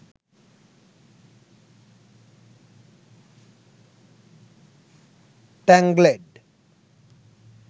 tangled